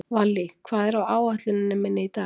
Vallý, hvað er á áætluninni minni í dag?